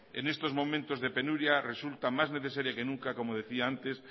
en estos momentos de penuria resulta más necesaria que nunca como decía antes